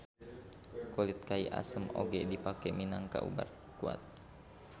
Kulit kai asem oge dipake minangka ubar kuat